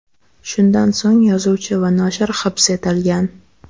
Shundan so‘ng yozuvchi va noshir hibs etilgan.